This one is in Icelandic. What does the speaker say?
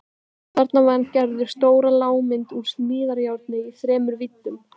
Þarna vann Gerður stóra lágmynd úr smíðajárni í þremur víddum.